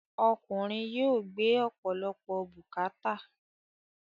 Ọkùnrin yóò gbé ọ̀pọ̀lọpọ̀ bùkàátà.